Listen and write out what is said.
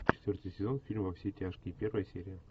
четвертый сезон фильм во все тяжкие первая серия